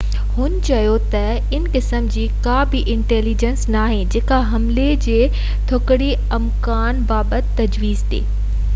هن چيو تہ ان قسم جي ڪا بہ انٽيليجينس ناهي جيڪو حملي جي تڪڙي امڪان بابت تجويز ڏي